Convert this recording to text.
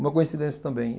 Uma coincidência também.